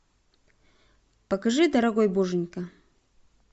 покажи дорогой боженька